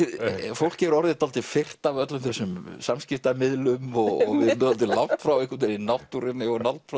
fólk er orðið dálítið firrt af öllum þessum samskiptamiðlum og dálítið langt frá náttúrunni og langt frá